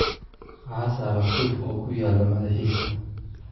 "Waxaa saaran suuf oo ku yaal madaxiisa."